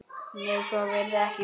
Nei, svo virðist ekki vera.